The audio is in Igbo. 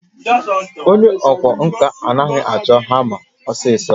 Onye ọkwá nkà anaghị achọ hama osisi